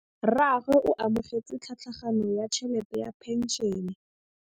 Rragwe o amogetse tlhatlhaganyô ya tšhelête ya phenšene.